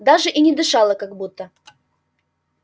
даже и не дышала как будто